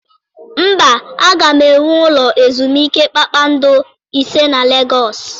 Mba, aga m ewu ụlọ ezumike kpakpando ise na Legọọsị.